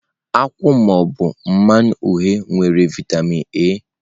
Nkwụ ma ọ bụ mmanụ uhie nwere vitamin A.